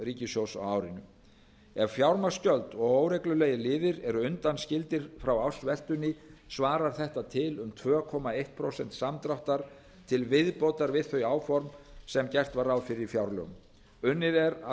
ríkissjóðs á árinu ef fjármagnsgjöld og óreglulegir liðir eru undanskildir frá ársveltunni svarar þetta til um tvö komma eitt prósent samdráttar til viðbótar við þau áform sem gert var ráð fyrir í fjárlögum unnið er að